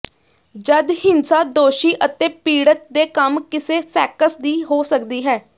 ਜਦ ਹਿੰਸਾ ਦੋਸ਼ੀ ਅਤੇ ਪੀੜਤ ਦੇ ਕੰਮ ਕਿਸੇ ਸੈਕਸ ਦੀ ਹੋ ਸਕਦੀ ਹੈ